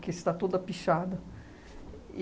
Que está toda pichada. E